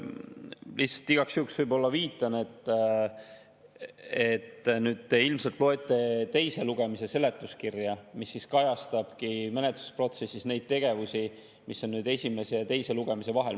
Lihtsalt igaks juhuks viitan, et te ilmselt loete teise lugemise seletuskirja, mis kajastabki menetlusprotsessis neid tegevusi, mis on esimese ja teise lugemise vahel.